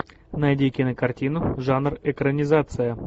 найди кинокартину жанр экранизация